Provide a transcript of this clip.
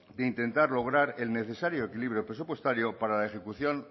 de intentar lograr el necesario equilibrio presupuestario para la ejecución